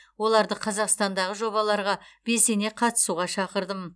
оларды қазақстандағы жобаларға белсене қатысуға шақырдым